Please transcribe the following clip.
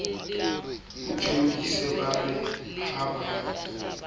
thodise ba re ha ba